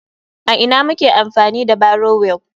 A ina muke amfani da barrow wheel?